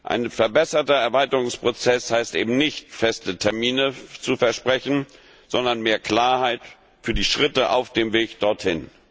Ein verbesserter Erweiterungsprozess heißt eben nicht, feste Termine zu versprechen, sondern mehr Klarheit für die Schritte auf dem Weg dorthin.